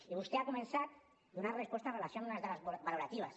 i vostè ha començat donant resposta amb relació a unes dades valoratives